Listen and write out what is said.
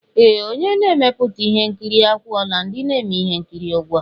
Ee! Onye na-emepụta ihe nkiri akwụọla ndị na-eme ihe nkiri ụgwọ.